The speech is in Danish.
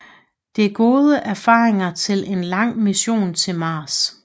Det er gode erfaringer til en lang mission til Mars